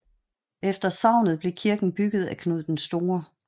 Efter sagnet blev kirke bygget af Knud den Store